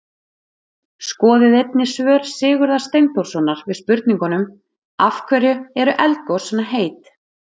Skoðið einnig svör Sigurðar Steinþórssonar við spurningunum: Af hverju eru eldgos svona heit?